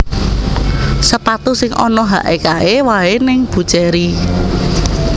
Sepatu sing ono hake kae wae ning Buccheri